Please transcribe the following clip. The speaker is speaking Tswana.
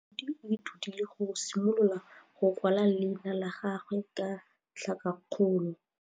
Moithuti o ithutile go simolola go kwala leina la gagwe ka tlhakakgolo.